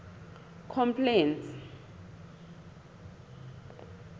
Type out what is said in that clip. complaints